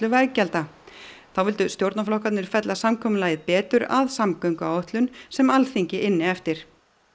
veggjalda þá vildu stjórnarflokkarnir fella samkomulagið betur að samgönguáætlun sem Alþingi ynni eftir